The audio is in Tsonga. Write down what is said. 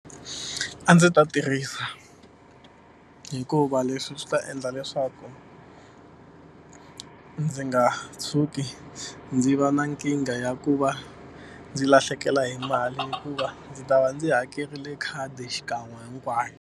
A ndzi ta tirhisa hikuva leswi swi ta endla leswaku ndzi nga tshuki ndzi va na nkingha ya ku va ndzi lahlekela hi mali hikuva ndzi ta va ndzi hakerile khadi xikan'we hinkwayo.